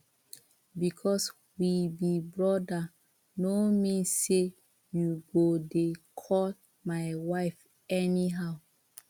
because we be brother no mean say you go dey call my wife anyhow